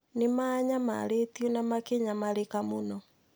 Nĩ maanyamarĩtio na makĩnyamarĩka mũno.